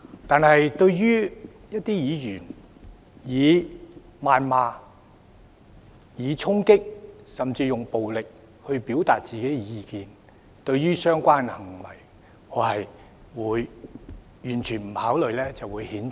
但是，一些議員以謾罵、衝擊，甚至用暴力去表達自己的意見；對於這些行為，我會毫不猶豫，加以譴責。